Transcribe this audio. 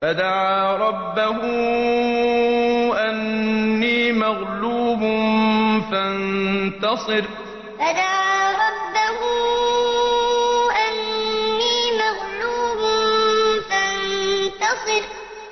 فَدَعَا رَبَّهُ أَنِّي مَغْلُوبٌ فَانتَصِرْ فَدَعَا رَبَّهُ أَنِّي مَغْلُوبٌ فَانتَصِرْ